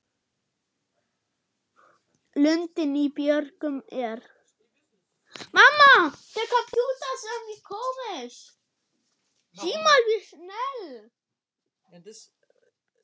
Lundinn í björgum er.